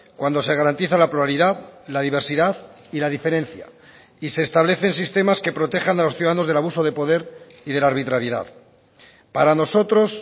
cuando se garantiza la pluralidad la diversidad y la diferencia y se establecen sistemas que protejan a los ciudadanos del abuso de poder y de la arbitrariedad para nosotros